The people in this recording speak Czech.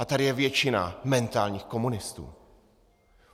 A tady je většina mentálních komunistů.